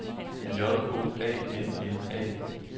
J O A N N A